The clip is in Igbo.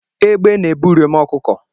Egbe na-ebu uriom ọkụkọ